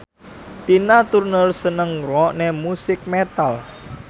Tina Turner seneng ngrungokne musik metal